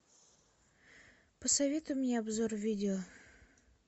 посоветуй мне обзор видео